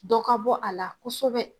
Dɔ ka bɔ a la kosɛbɛ